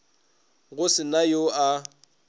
go se na yo a